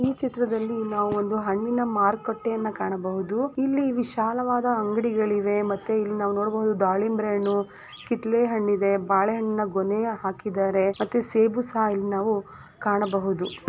ಈ ಚಿತ್ರದಲ್ಲಿ ನಾವು ಒಂದು ಹಣ್ಣಿನ ಮಾರುಕಟ್ಟೆಯನ್ನು ಕಾಣಬಹುದು ಇಲ್ಲಿ ವಿಶಾಲವಾದ ಅಂಗಡಿಗಳಿವೆ ಮತ್ತೆ ಇಲ್ಲಿ ನಾವು ನೋಡಬಹುದು ದಾಳಿಂಬೆ ಹಣ್ಣು ಕಿತ್ತಳೆ ಹಣ್ಣಿದೆ ಬಾಳೆಹಣ್ಣಿನ ಗೊನೆ ಹಾಕಿದ್ದಾರೆ ಮತ್ತೆ ಸೇಬು ಸಹ ಇಲ್ಲಿ ನಾವು ಕಾಣಬಹುದು .